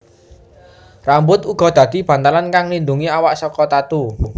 Rambut uga dadi bantalan kang nglindungi awak saka tatu